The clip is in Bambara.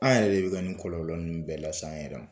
An yɛrɛ de bi ka nin kɔlɔlɔ nunnu bɛɛ lase an yɛrɛ ma.